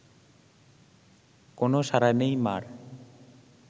কোনও সাড়া নেই মা’র